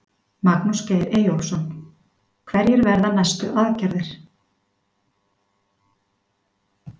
Magnús Geir Eyjólfsson: Hverjar verða næstu aðgerðir?